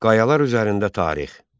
Qayalar üzərində tarix.